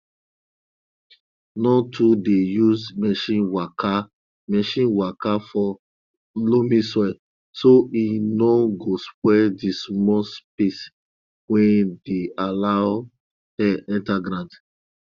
no too dey use machine waka machine waka for loamy soil so e no go spoil di small space wey dey allow air enter ground